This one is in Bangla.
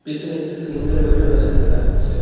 পিছনে একটি সিঙ্গেল বেডও রয়েছে দেখা যাচ্ছে।